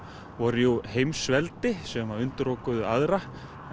voru jú heimsveldi sem undirokuðu aðra